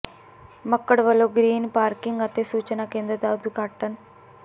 ਮੱਕਡ਼ ਵੱਲੋਂ green parking ਅਤੇ ਸੂਚਨਾ ਕੇਂਦਰ ਦਾ ਉਦਘਾਟਨ